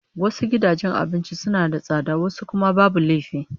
Wasu gidajen abincin suna da tsada wasu kuma babu laifi